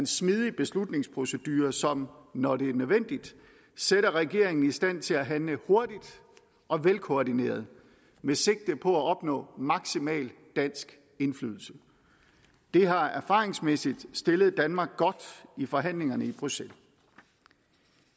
smidig beslutningsprocedure som når det er nødvendigt sætter regeringen i stand til at handle hurtigt og velkoordineret med sigte på at opnå maksimal dansk indflydelse det har erfaringsmæssigt stillet danmark godt i forhandlingerne i bruxelles